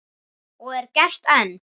Og er gert enn.